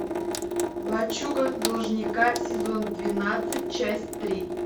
лачуга должника сезон двенадцать часть три